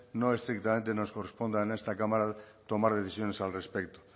no estrictamente nos corresponda en esta cámara tomar decisiones al respecto